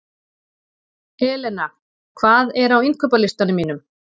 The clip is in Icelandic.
Elena, hvað er á innkaupalistanum mínum?